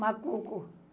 Macuco.